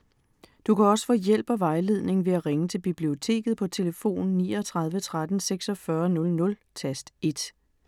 Du kan også få hjælp og vejledning ved at ringe til Biblioteket på tlf. 39 13 46 00, tast 1.